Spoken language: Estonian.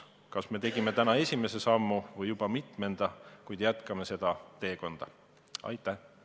Kas me tegime täna esimese sammu või juba mitmenda, igatahes jätkame seda teekonda!